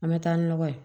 An bɛ taa ni nɔgɔ ye